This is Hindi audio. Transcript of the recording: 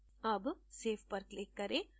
अब save पर click करें